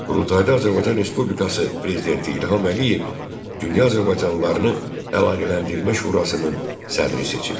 Qurultayda Azərbaycan Respublikası prezidenti İlham Əliyev dünya azərbaycanlılarını Əlaqələndirmə Şurasının sədri seçildi.